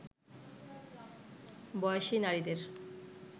বয়সী নারীদের